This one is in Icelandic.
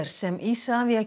sem Isavia